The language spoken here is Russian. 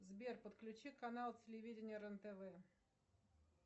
сбер подключи канал телевидения рен тв